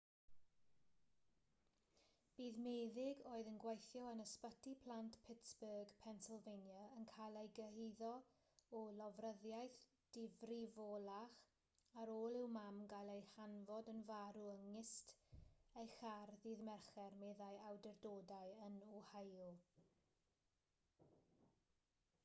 bydd meddyg oedd yn gweithio yn ysbyty plant pittsburgh pennsylvania yn cael ei gyhuddo o lofruddiaeth difrifolach ar ôl i'w mam gael ei chanfod yn farw yng nghist ei char ddydd mercher meddai awdurdodau yn ohio